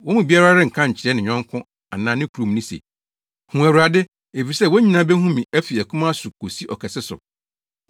Wɔn mu biara renka nkyerɛ ne yɔnko anaa ne kuromni se, ‘Hu Awurade!’ Efisɛ wɔn nyinaa behu me fi akumaa so kosi ɔkɛse so.